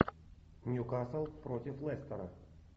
ньюкасл против лестера